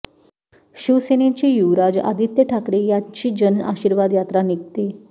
शिवसेनेचे युवराज आदित्य ठाकरे यांची जन आशीर्वाद यात्रा निघते